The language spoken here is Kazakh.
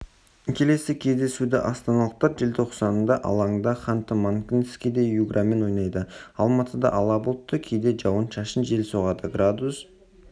келесі кездесуді астаналықтар желтоқсандасырт алаңда ханты-мансийскіде юграмен ойнайды алматыда ала бұлтты кейде жауын-шашын жел соғады градус